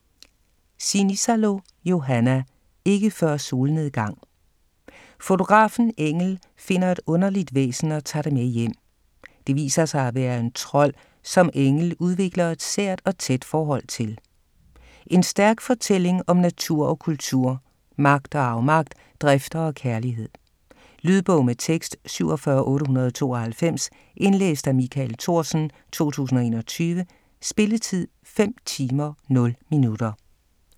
Sinisalo, Johanna: Ikke før solnedgang Fotografen Engel finder et underligt væsen og tager det med hjem. Det viser sig at være en trold, som Engel udvikler et sært og tæt forhold til. En stærk fortælling om natur og kultur, magt og afmagt, drifter og kærlighed. Lydbog med tekst 47892 Indlæst af Michael Thorsen, 2021. Spilletid: 5 timer, 0 minutter.